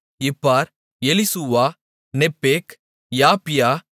Ibhar Elishua Nepheg யப்பியா